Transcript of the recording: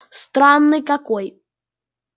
странный какой